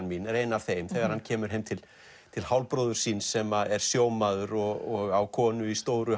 mín er ein af þeim þegar hann kemur heim til til hálfbróður síns sem er sjómaður og á konu í stóru